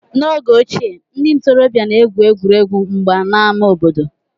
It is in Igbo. N'oge ochie, ndị ntorobịa na-egwu egwuregwu mgba n'ámá obodo